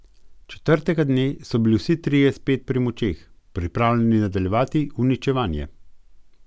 Četrtega dne so bili vsi trije spet pri močeh, pripravljeni nadaljevati uničevanje.